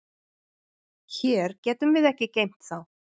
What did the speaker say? Hér getum við ekki geymt þá.